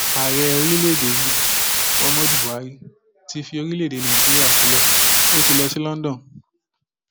ààrẹ orílẹèdè yìí muhammadu buhari ti fi orílẹèdè nàíjíríà sílẹ ó ti lọ sí london